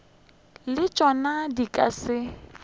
le tšona di ka se